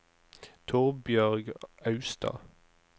Torbjørg Austad